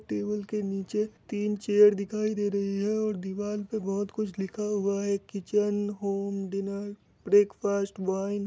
Table के नीचे तीन चेयर दिखाई दे रही है और दीवार पे बहुत कुछ लिखा हुआ है। एक kitchen home dinner breakfast wine --